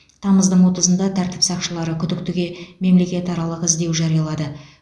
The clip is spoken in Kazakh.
тамыздың отызында тәртіп сақшылары күдіктіге мемлекетаралық іздеу жариялады